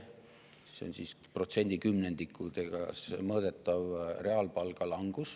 Reaalpalga langus on protsendi kümnendikes mõõdetav.